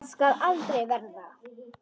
Það skal aldrei verða!